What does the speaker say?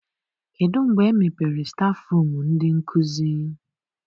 Kedụ mgbe e mepere stafụrum ndị nkụzi?